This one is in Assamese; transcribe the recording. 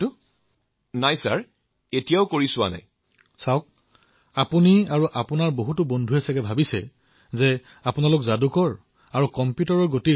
মহোদয় মই চিকিৎসক হব খুজিছো